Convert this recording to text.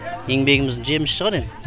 еңбегіміздің жемісі шығар енді